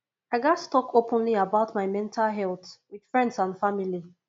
i gats talk openly about my mental health with friends and family